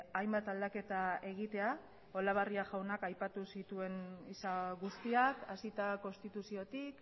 hainbat aldaketa egitea olabarria jaunak aipatu zituen gisa guztiak hasita konstituziotik